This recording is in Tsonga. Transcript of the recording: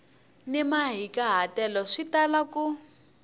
ni mahikahatelo swi tala ku